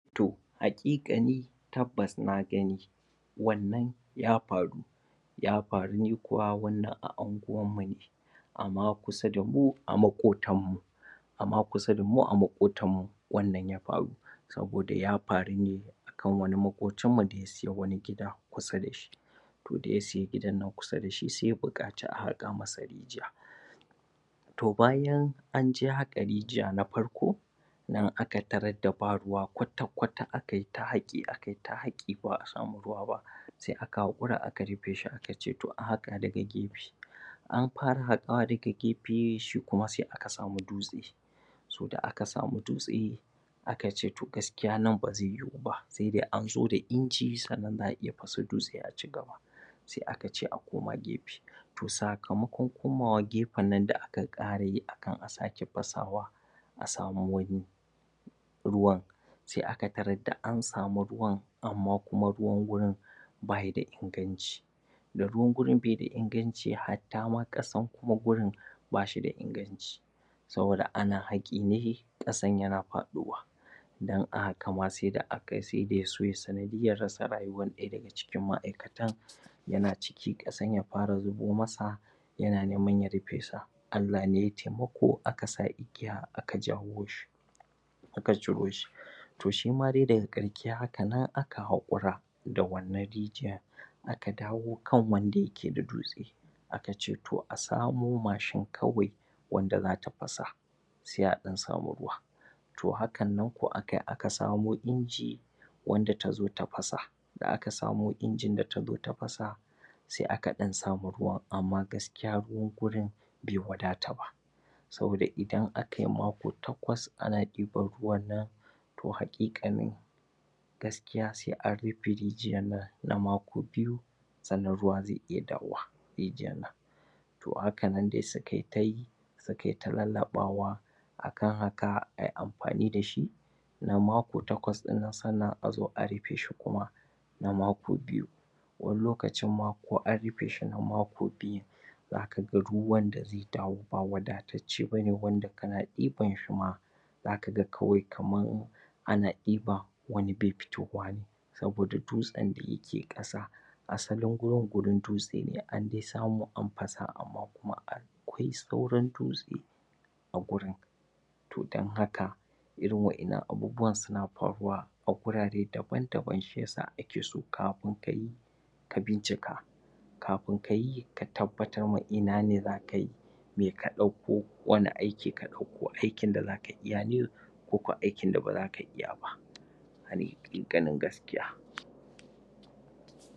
To haƙiƙani tabbas na gani wannan ya faru ya faru ne kuwa wannan a anguwan mu ne a ma kusa da mu, a maƙotan mu a ma kusa da mu, a maƙotan mu, wannan ya faru saboda ya faru ne kan wani maƙocin mu ne sai wani gida kusa da ni to da ya siya gidan nan kusa da shi, sai ya buƙaci a haƙa masa rijiya to bayan an je haƙa rijiya na farko nan aka tarar da ba ruwa kwata-kwata akai ta haƙi, akai ta haƙi ba'a samu ruwa ba sai aka haƙura aka rufe shi aka ce to a haƙa daga gefe an fara haƙawa daga gefe shi kuma sai aka samu dutse to da aka samu dutse aka ce to gaskiya nan ba zai yiwu ba sai an zo da inji sannan za'a iya fasa dutse a cigaba sai aka ce a koma gefe to sakamakon komawa gefen nan da aka ƙara yi akan a sake fasawa a samu wani ruwan sai aka tarar da an samu ruwan amma kuma ruwan wurin bayi da inganci da ruwan wurin bai da inganci hatta ma ƙasan kuma wurin na shi da inganci saboda ana haƙi ne ƙasan yana faɗowa dan da aka gama sai da yaso yayi sanadiyyar rasa rayuwar ɗaya daga ciki ma'aikatan yana ciki ƙasan ya fara zubo masa yana neman ya rufe su Allah ne yai taimako aka sa igiya aka jawo shi suka ciro shi to shi ma dai daga ƙarshe haka nan aka haƙura da wannan rijiyan aka dawo kan wanda yake da dutse aka ce to a samo machine kawai wanda zata fasa sai a ɗan samu ruwa to hakan nan ko akai aka samo inji wanda ta zo ta fasa, da aka samo injin da ta zo ta fasa sai aka ɗan samu ruwa amma gaskiya ruwan gurin bai wadata ba saboda idan akai mako takwas ana ɗiban ruwan nan to haƙiƙanin gaskiya sai an rufe rijiyan nan na mako biyu sannan ruwa zai iya dawo wa rijiyan to a haka nan dai sukai ta yi sukai ta lallaɓawa akan haka ai amfani da shi na mako takwas ɗinnan sannan a zo a rufe shi kuma na mako biyu wani lokacin ma ko an rufe shi na mako biyu zaka ga ruwan da zai dawo ba wadatacce bane wanda kana ɗiban shi ma zaka ga kawai kaman ana ɗiba wani bai fitowa saboda dutsen da yake ƙasa asalin gurin gurin dutse ne an dai samu an fasa an amma kuma akwai sauran dutse a gurin to dan haka irin waƴannan abubuwan suna faruwa a gurare daban-daban shiyasa ake so kafin kayi ka bincika kafin kayi ka tabbbar ma ina ne zaka yi me a ɗauko, wani aiki ka ɗauko aikin da zaka iya ne ko kuwa aikin da ba zaka iya ba hani ga ƙin gaskiya.